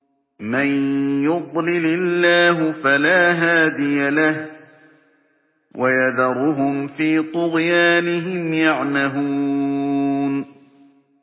مَن يُضْلِلِ اللَّهُ فَلَا هَادِيَ لَهُ ۚ وَيَذَرُهُمْ فِي طُغْيَانِهِمْ يَعْمَهُونَ